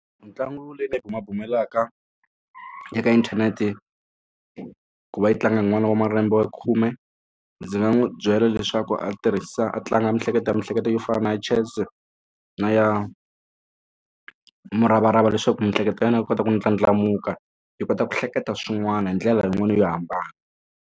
Mitlangu leyi ni yi bumabumelaka eka inthanete ku va yi tlanga n'wana wa malembe ya khume ndzi nga n'wi byela leswaku a tirhisa a tlanga miehleketo ya miehleketo yo fana na chess na ya muravarava leswaku miehleketo ya yena yi kota ku ndlandlamuka yi kota ku hleketa swin'wana hi ndlela yin'wani yo hambana.